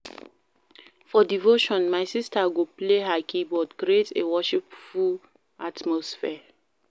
For devotion my sister go play her keyboard, create a worshipful atmosphere.